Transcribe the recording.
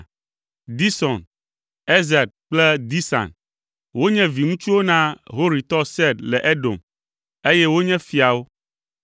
Dison, Ezer kple Disan. Wonye viŋutsuwo na Horitɔ Seir le Edom, eye wonye fiawo.